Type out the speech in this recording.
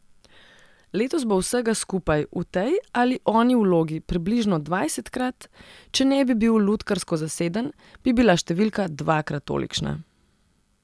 Letos bo vsega skupaj v tej ali oni vlogi približno dvajsetkrat, če ne bi bil lutkarsko zaseden, bi bila številka dvakrat tolikšna.